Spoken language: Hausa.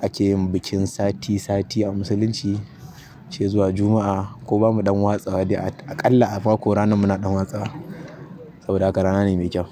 ake yin bikin sati-sati a musulunci sai zuwa Juma'a ko bamu ɗan watsa dai aƙalla a mako rana muna ɗan watsa. Saboda haka rana ne mai kyau.